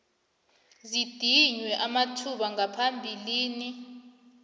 zidinywe amathuba ngaphambilini